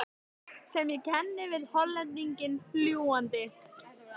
sem ég kenni við Hollendinginn fljúgandi.